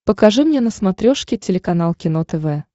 покажи мне на смотрешке телеканал кино тв